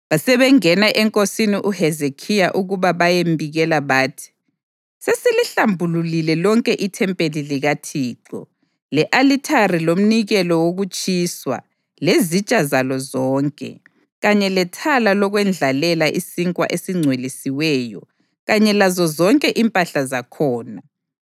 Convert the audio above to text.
Basebengena enkosini uHezekhiya ukuba bayembikela bathi: “Sesilihlambulule lonke ithempeli likaThixo, le-alithari lomnikelo wokutshiswa lezitsha zalo zonke, kanye lethala lokwendlalela isinkwa esingcwelisiweyo kanye lazozonke impahla zakhona.